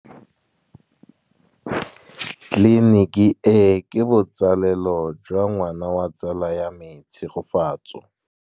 Tleliniki e, ke botsalêlô jwa ngwana wa tsala ya me Tshegofatso.